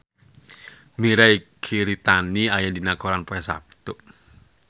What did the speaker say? Mirei Kiritani aya dina koran poe Saptu